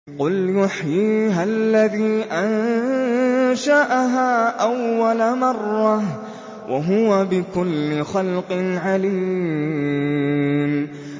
قُلْ يُحْيِيهَا الَّذِي أَنشَأَهَا أَوَّلَ مَرَّةٍ ۖ وَهُوَ بِكُلِّ خَلْقٍ عَلِيمٌ